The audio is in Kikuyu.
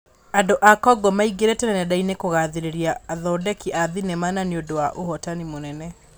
Andũ a Kongo maingĩrĩte nendainĩ kũgathĩrĩria athondeki a thenema na nĩ ũndũ wa ũhotani mũnene.